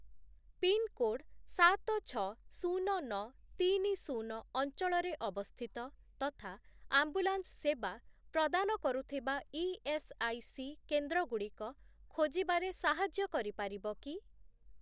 Pin code ସାତ, ଛଅ, ଶୂନ, ନଅ, ତିନି, ଶୂନ ଅଞ୍ଚଳରେ ଅବସ୍ଥିତ ତଥା ଆମ୍ବୁଲାନ୍ସ ସେବା ପ୍ରଦାନ କରୁଥିବା ଇଏସ୍ଆଇସି କେନ୍ଦ୍ରଗୁଡ଼ିକ ଖୋଜିବାରେ ସାହାଯ୍ୟ କରିପାରିବ କି?